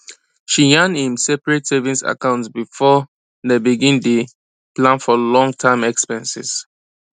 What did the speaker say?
she yan im seperate savings account before dem begin day plan for long term expenses